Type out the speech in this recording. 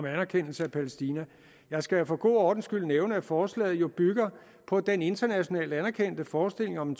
anerkendelse af palæstina jeg skal for god ordens skyld nævne at forslaget jo bygger på den internationalt anerkendte forestilling om